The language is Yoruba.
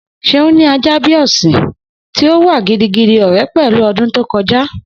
Seun ní a ajá bi a ọsin, ti o wà gidigidi ore pẹlu odun to koja.